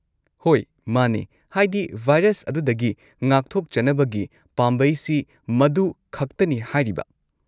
ꯍꯣꯏ ꯃꯥꯅꯦ, ꯍꯥꯏꯗꯤ ꯚꯥꯏꯔꯁ ꯑꯗꯨꯗꯒꯤ ꯉꯥꯛꯊꯣꯛꯆꯅꯕꯒꯤ ꯄꯥꯝꯕꯩꯁꯤ ꯃꯗꯨꯈꯛꯇꯅꯤ ꯍꯥꯏꯔꯤꯕ꯫